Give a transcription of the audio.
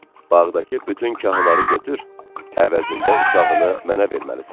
"Bağdakı bütün kahları götür, əvəzində uşağını mənə verməlisən."